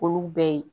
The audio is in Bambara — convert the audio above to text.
Olu bɛɛ ye